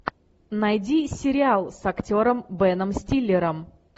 найди сериал с актером беном стиллером